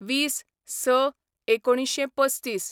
२०/०६/१९३५